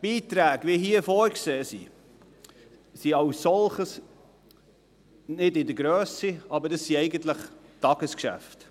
Beiträge, wie sie hier vorgesehen sind, sind als solche nicht in der Grösse, aber es sind Tagesgeschäfte.